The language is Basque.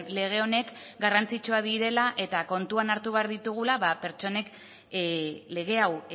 lege honek garrantzitsuak direla eta kontuan hartu behar ditugula pertsonek lege hau